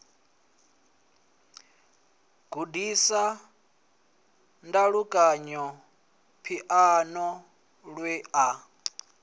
gudisa ndalukanyo phiano lwe a